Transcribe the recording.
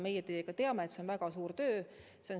Meie teiega teame, et see on väga suur töö.